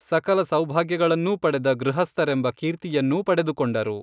ಸಕಲ ಸೌಭಾಗ್ಯಗಳನ್ನೂ ಪಡೆದ ಗೃಹಸ್ಥರೆಂಬ ಕೀರ್ತಿಯನ್ನೂ ಪಡೆದುಕೊಂಡರು